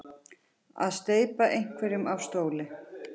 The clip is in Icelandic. Að steypa einhverjum af stóli